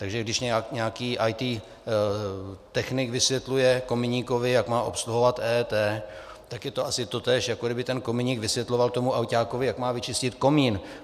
Takže když nějaký IT technik vysvětluje kominíkovi, jak má obsluhovat EET, tak je to asi totéž, jako kdyby ten kominík vysvětloval tomu ajťákovi, jak má vyčistit komín.